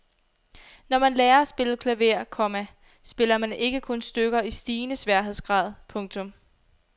Når man lærer at spille klaver, komma spiller man ikke kun stykker i stigende sværhedsgrad. punktum